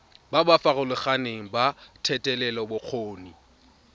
ba ba farologaneng ba thetelelobokgoni